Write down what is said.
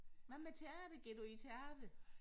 Hvad med teater går du i teateret?